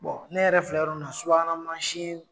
Bɔn ne yɛrɛ filɛ yɔrɔ min na subahana mansin